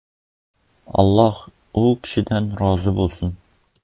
Alloh u kishidan rozi bo‘lsin!”.